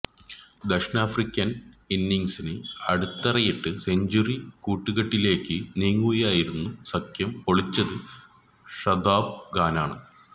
ദക്ഷിണാഫ്രിക്കന് ഇന്നിങ്സിന് അടിത്തറയിട്ട് സെഞ്ചുറി കൂട്ടുകട്ടിലേക്കു നീങ്ങുകയായിരുന്ന സഖ്യം പൊളിച്ചത് ഷതാബ് ഖാനാണ്